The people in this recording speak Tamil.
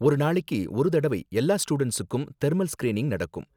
ஒரு நாளைக்கு ஒரு தடவை எல்லா ஸ்டூடண்ட்ஸுக்கும் தெர்மல் ஸ்கிரீனிங் நடக்கும்